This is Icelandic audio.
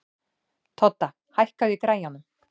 Todda, hækkaðu í græjunum.